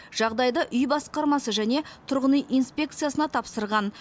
жағдайды үй басқармасы және тұрғын үй инспекциясына тапсырыпты